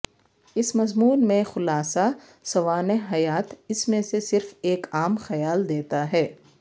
اس مضمون میں خلاصہ سوانح حیات اس میں سے صرف ایک عام خیال دیتا ہے